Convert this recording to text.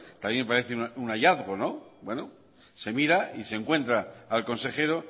también me parece un hallazgo se mira y se encuentra al consejero